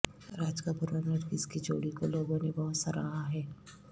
راج کپور اور نرگس کی جوڑی کو لوگوں نے بہت سراہا ہے